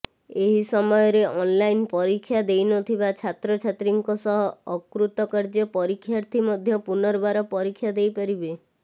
ଏହି ସମୟରେ ଅନ୍ଲାଇନ୍ ପରୀକ୍ଷା ଦେଇନଥିବା ଛାତ୍ରଛାତ୍ରୀଙ୍କ ସହ ଅକୃତକାର୍ଯ୍ୟ ପରୀକ୍ଷାର୍ଥୀ ମଧ୍ୟ ପୁନର୍ବାର ପରୀକ୍ଷା ଦେଇପାରିବେ